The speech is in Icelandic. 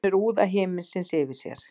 Finnur úða himinsins yfir sér.